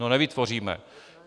No nevytvoříme.